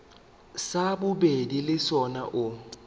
sa bobedi le sona o